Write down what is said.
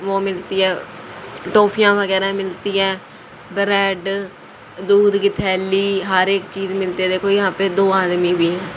वो मिलती है टॉफियां वगैरह मिलती हैं ब्रेड दूध की थैली हर एक चीज मिलते थे कोई यहां पे दो आदमी भी हैं।